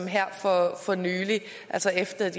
her for for nylig altså efter at